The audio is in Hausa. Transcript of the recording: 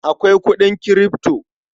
Akwai kuɗin Kirifto.